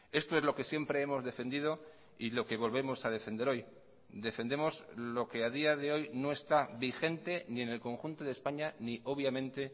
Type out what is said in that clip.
esto es lo que siempre hemos defendido y lo que volvemos a defender hoy defendemos lo que a día de hoy no está vigente ni en el conjunto de españa ni obviamente